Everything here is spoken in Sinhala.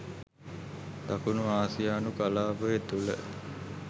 දකුණු ආසියානු කලාපය තුළ